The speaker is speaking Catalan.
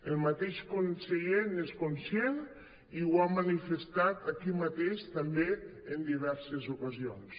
el mateix conseller n’és conscient i ho ha manifestat aquí mateix també en diverses ocasions